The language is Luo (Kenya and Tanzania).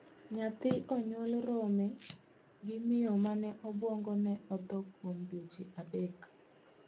Nyathi onyuol rome gi miyo mane 'obuongone otho' kuom dweche adek